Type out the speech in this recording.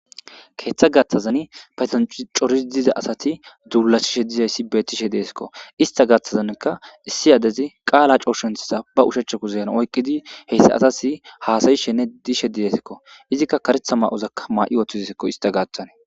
keeththa gaththazan patancoris diza asati duulasishe dizayssi betishe deesikko ista gaththazanka issi adezi qaala cooshenthisa ba ushachakuzeyan oyqqidi heyssa asasi haasayi shenne dishe didesikko izikka karetha ma 'ozakka maa'i ooththidesikko ista gaaththane.